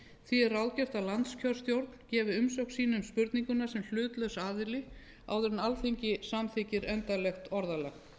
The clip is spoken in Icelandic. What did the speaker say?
því er ráðgert að landskjörstjórn gefi umsögn sína um spurninguna sem hlutlaus aðili áður en alþingi samþykkir endanlegt orðalag